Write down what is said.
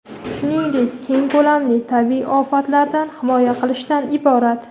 shuningdek keng ko‘lamli tabiiy ofatlardan himoya qilishdan iborat.